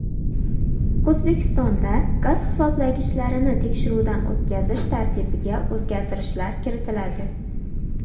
O‘zbekistonda gaz hisoblagichlarini tekshiruvdan o‘tkazish tartibiga o‘zgartirishlar kiritiladi.